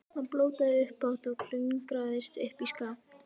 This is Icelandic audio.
Hann blótaði upphátt og klöngraðist upp í skafl.